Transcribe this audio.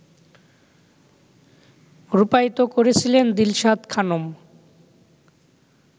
রূপায়িত করেছিলেন দিলশাদ খানম